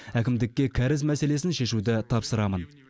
әкімдікке кәріз мәселесін шешуді тапсырамын